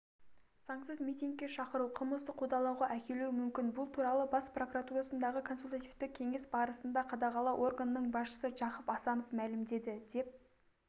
заңсыз митингке шақыру қылмыстық қудалауға әкелуі мүмкін бұл туралы бас прокуратурасындағы консультативті кеңес барысында қадағалау органының басшысы жақып асанов мәлімдеді деп